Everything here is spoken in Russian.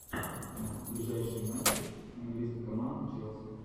ближайшие матчи английской команды челси